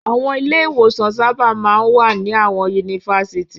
Àwọn ilé-ìwòsàn sábà máa ń wà ní àwọn yunifásitì.